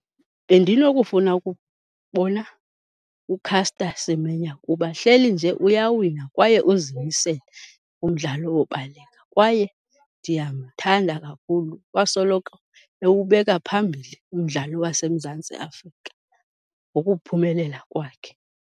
Bendinokufuna ukubona uCaster Semenya kuba hleli nje uyawina kwaye uzimisele kumdlalo wobaleka kwaye ndiyamthanda kakhulu. Wasoloko ewubeka phambili umdlalo waseMzantsi Afrika ngokuphumelela kwakhe.